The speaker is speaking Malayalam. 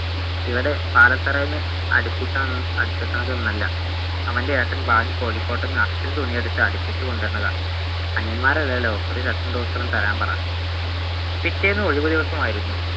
ഇവിടെ പാലത്തറയിൽനിന്ന് അടിപ്പിക്കണ അടിപ്പിക്കണതൊന്ന്വല്ല അവൻ്റെ ഏട്ടൻ വാങ്ങി കോഴിക്കോട്ടുന്ന അസ്സൽ തുണിയെടുത്ത് അടിപ്പിച്ച് കൊണ്ടുവന്നത് അനിയന്മാരല്ലെലോ ഒരു shirt ഉം trouser ഉം തരാൻ പറ പിറ്റേന്ന് ഒഴിവുദിവസമായിരുന്നു